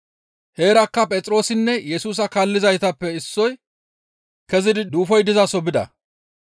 Heerakka Phexroosinne Yesusa kaallizaytappe issoy kezidi duufoy dizaso bida.